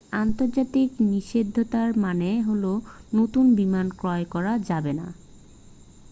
আন্তর্জাতিক নিষেধাজ্ঞার মানে হলো নতুন বিমান ক্রয় করা যাবেনা